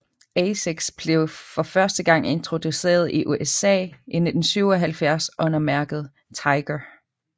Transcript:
Asics blev for første gang introduceret i USA i 1977 under mærket Tiger